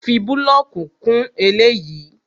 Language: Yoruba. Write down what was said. Fi búlọ̀kì kún eléyìí!